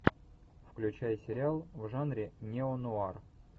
включай сериал в жанре нео нуар